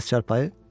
Bəs çarpayı?